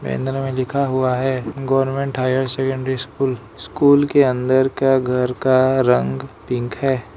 Banner में लिखा हुआ है government higher secondary school school के अंदर का घर का रंग पिंक है।